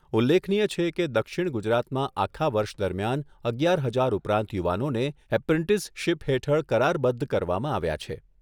ઉલ્લેખનીય છે કે, દક્ષિણ ગુજરાતમાં આખા વર્ષ દરમિયાન અગિયાર હજાર ઉપરાંત યુવાનોને એપ્રેન્ટિસશીપ હેઠળ કરારબદ્ધ કરવામાં આવ્યા છે.